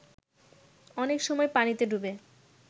অনেক সময় পানিতে ডুবে